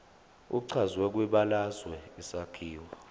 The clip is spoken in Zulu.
echazwe kwibalazwe isakhiwo